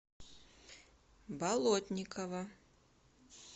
болотникова